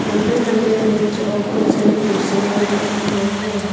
लंबे लंबे बेंच बहुत सारी कुर्सियां भी रखे हुए हैं।